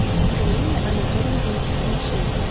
галине анатольевне тимошенко